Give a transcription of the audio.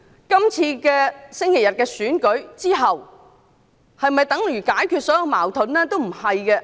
本周日的選舉之後，是否等於解決所有矛盾？